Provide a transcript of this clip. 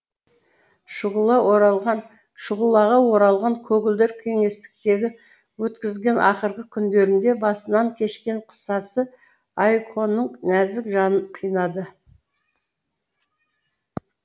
шұғылаға оралған көгілдір кеңістіктегі өткізілген ақырғы күндерінде басынан кешкен қысасы айконың нәзік жанын қинады